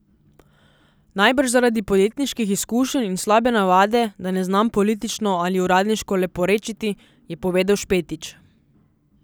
Najbrž zaradi podjetniških izkušenj in slabe navade, da ne znam politično ali uradniško leporečiti, je povedal Špetič.